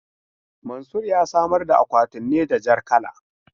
Mansur ya samar da akwatin ne da jar kala.